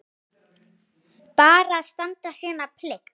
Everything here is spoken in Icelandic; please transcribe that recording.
Bara standa sína plikt.